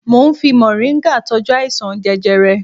Mo ń fi mọ̀ríngà tọ́jú àìsàn jẹjẹrẹ